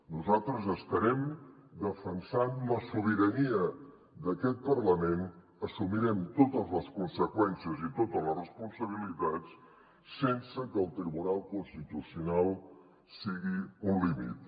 nosaltres estarem defensant la sobirania d’aquest parlament assumirem totes les conseqüències i totes les responsabilitats sense que el tribunal constitucional sigui un límit